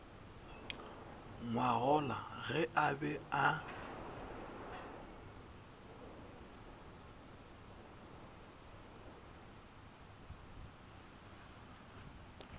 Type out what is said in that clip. ngwagola ge a be a